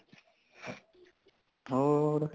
ਹੋਰ